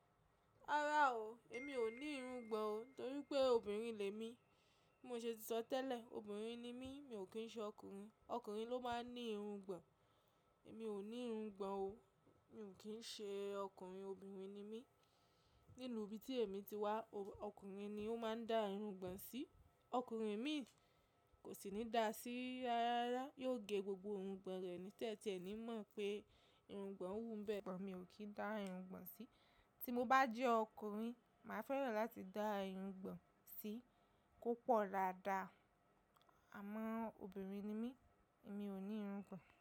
Rárá o, èmi ò ní irungbọ̀n o torí pé obìnrin le mi. Bí mo ṣe ti sọ tẹ́lẹ̀, obìnrin ni mí, mi ò kí ń ṣe ọkùnrin. Ọkùnrin ló máa ń ní irungbọ̀n. Èmi ò ní irungbọ̀n o, mi ò kí ń ṣe ọkùnrin, obìnrin ni mí. Nínú ibi tí èmi ti wá, ọkùnrin ni ó máa ń dá irungbọ̀n sí. Ọkùnrin mí kò sì ní da sí rárá, yóò ge gbogbo irungbọ̀n rẹ̀ ní tẹ́tẹ́ ẹ ní mọ̀ pé irungbọ̀n wú bẹ́ẹ̀. But mi ò kì í dá irungbọ̀n sí tí mo bàjẹ́ ọkùnrin má fẹ́ràn láti dá irungbọ̀n sí kó pọ̀ dáadáa. Àmọ́ obìnrin ni mí, èmi ò ní irungbọ̀n.